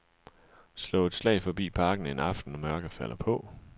Slå et slag forbi parken en aften, når mørket falder på.